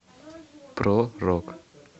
про рок